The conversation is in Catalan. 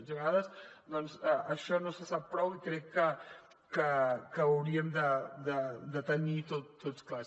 i a vegades doncs això no se sap prou i crec que ho hauríem de tenir tots clar